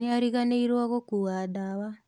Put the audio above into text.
nĩariganĩiruo gũkua ndawa.